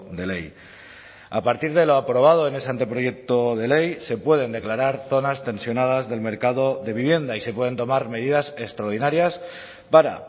de ley a partir de lo aprobado en ese anteproyecto de ley se pueden declarar zonas tensionadas del mercado de vivienda y se pueden tomar medidas extraordinarias para